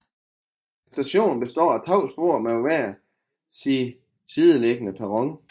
Stationen består af to spor med hver sin sideliggende perron